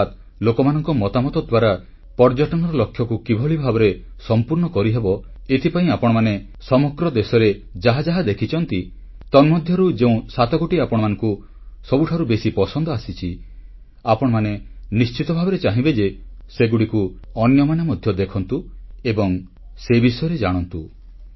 ଅର୍ଥାତ୍ ଲୋକମାନଙ୍କ ମତାମତ ଦ୍ୱାରା ପର୍ଯ୍ୟଟନର ଲକ୍ଷ୍ୟକୁ କିପରି ଭାବେ ସମ୍ପୂର୍ଣ୍ଣ କରିହେବ ଏଥିପାଇଁ ଆପଣମାନେ ସମଗ୍ର ଦେଶରେ ଯାହା ଯାହା ଦେଖିଛନ୍ତି ତନ୍ମଧ୍ୟରୁ ଯେଉଁ ସାତଗୋଟି ଆପଣମାନଙ୍କୁ ସବୁଠାରୁ ପସନ୍ଦ ଆସିଛି ଆପଣମାନେ ନିଶ୍ଚିତ ଭାବରେ ଚାହିଁବେ ଯେ ସେଗୁଡ଼ିକୁ ଅନ୍ୟମାନେ ମଧ୍ୟ ଦେଖନ୍ତୁ ଓ ସେ ବିଷୟରେ ଜାଣନ୍ତୁ